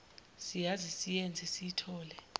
siyazi siyenze siyithole